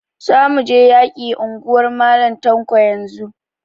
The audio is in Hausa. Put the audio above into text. Za mu je mu yaki anguwar Mal Tanko yanzun!